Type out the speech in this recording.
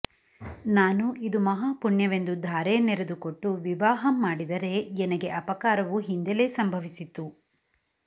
ನಾನು ಯಿದು ಮಹಾಪುಣ್ಯವೆಂದು ಧಾರೆಯನ್ನೆರೆದು ಕೊಟ್ಟು ವಿವಾಹವಂ ಮಾಡಿದರೆ ಯನಗೆ ಅಪಕಾರವು ಹಿಂದೆಲೇ ಸಂಭವಿಸಿತು